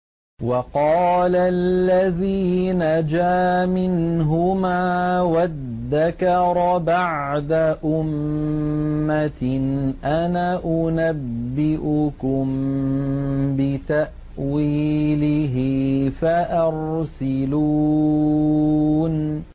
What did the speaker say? وَقَالَ الَّذِي نَجَا مِنْهُمَا وَادَّكَرَ بَعْدَ أُمَّةٍ أَنَا أُنَبِّئُكُم بِتَأْوِيلِهِ فَأَرْسِلُونِ